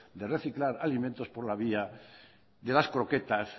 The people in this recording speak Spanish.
de reciclar alimentos por la vía de las croquetas